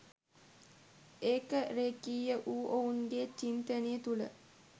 ඒක රෙඛීය වූ ඔවුන්ගේ චින්තනය තුල